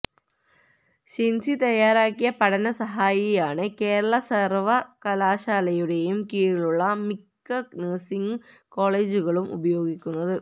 ഷിന്സി തയ്യാറാക്കിയ പഠനസഹായിയാണ് കേരള സര്വകലാശാലയുടെ കീഴിലുള്ള മിക്ക നഴ്സിങ് കോളേജുകളും ഉപയോഗിക്കുന്നത്